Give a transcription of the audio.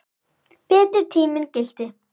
Betri tíminn gilti.